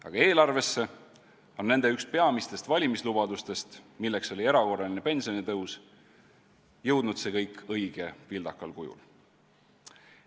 Aga eelarvesse on nende üks peamistest valimislubadustest, milleks oli erakorraline pensionitõus, jõudnud õige vildakal kujul.